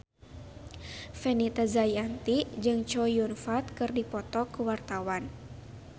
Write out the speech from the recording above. Fenita Jayanti jeung Chow Yun Fat keur dipoto ku wartawan